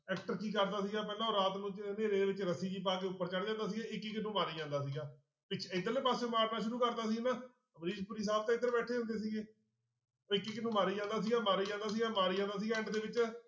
Actor ਕੀ ਕਰਦਾ ਸੀਗਾ ਪਹਿਲਾਂ ਰਾਤ ਨੂੰ ਹਨੇਰੇ ਵਿੱਚ ਰੱਸੀ ਜਿਹੀ ਪਾ ਕੇ ਉੱਪਰ ਚੜ੍ਹ ਜਾਂਦਾ ਸੀਗਾ ਇੱਕ ਇੱਕ ਨੂੰ ਮਾਰੀ ਜਾਂਦਾ ਸੀਗਾ, ਇੱਕ ਇੱਧਰਲੇ ਪਾਸਿਓ ਮਾਰਨਾ ਸ਼ੁਰੂ ਕਰਦਾ ਸੀ ਹਨਾ ਅਮਰੀਸ਼ ਪੁਰੀ ਸਾਹਬ ਤਾਂ ਇੱਧਰ ਬੈਠੇ ਹੁੰਦੇ ਸੀਗੇ, ਇੱਕ ਇੱਕ ਨੂੰ ਮਾਰੀ ਜਾਂਦਾ ਸੀਗਾ, ਮਾਰੀ ਜਾਂਦਾ ਸੀਗਾ, ਮਾਰੀ ਜਾਂਦਾ ਸੀਗਾ end ਦੇ ਵਿੱਚ